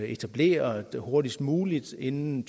etableret hurtigst muligt og inden